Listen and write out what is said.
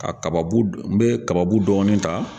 Ka kaba bu n bɛ kaba bu dɔgɔnin ta.